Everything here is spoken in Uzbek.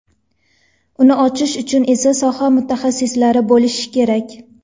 Uni ochish uchun esa soha mutaxassislari bo‘lishi kerak.